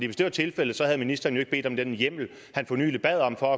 hvis det var tilfældet havde ministeren jo ikke bedt om den hjemmel han for nylig bad om for